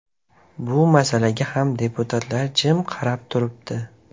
Bu masalaga ham deputatlar jim qarab turibdi.